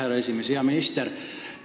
Hea minister!